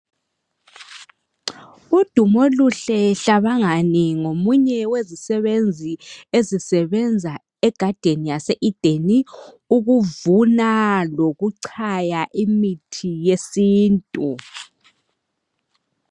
UDumoluhle Hlabangani ngomunye wezisebenzi ezisebenza e garden yase ideni, ukuvuna lokuchaya imithi yesintu.